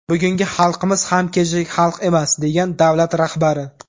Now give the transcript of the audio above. Bugungi xalqimiz ham kechagi xalq emas”, degan davlat rahbari.